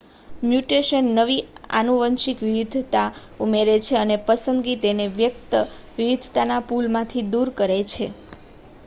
mutation નવી આનુવંશિક વિવિધતા ઉમેરે છે અને પસંદગી તેને વ્યક્ત વિવિધતાના પૂલમાંથી દૂર કરે છે